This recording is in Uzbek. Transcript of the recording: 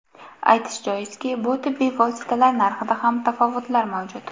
Aytish joizki, bu tibbiy vositalar narxida ham tafovutlar mavjud.